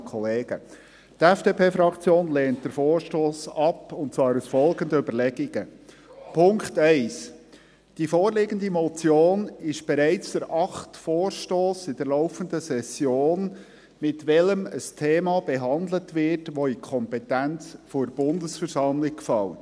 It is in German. Die FDP-Fraktion lehnt den Vorstoss ab, und zwar aus folgenden Überlegungen: Punkt 1, die vorliegende Motion ist bereits der achte Vorstoss in der laufenden Session, mit welchem ein Thema behandelt wird, welches in die Kompetenz der Bundesversammlung fällt.